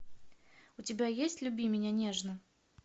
у тебя есть люби меня нежно